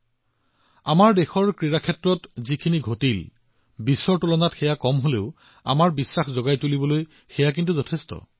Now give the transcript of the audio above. ক্ৰীড়াৰ এই পৃথিৱীত দেশৰ সৈতে যি ঘটিছিল সেয়া বিশ্বৰ তুলনাত কম কিন্তু আত্মবিশ্বাস জাগ্ৰত কৰাৰ বহুতো ঘটনা ঘটিছে